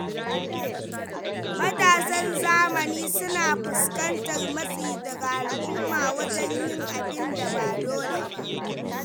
Matasan zamani suna fuskantar matsi daga al’umma wajen yin abin da ba dole ba.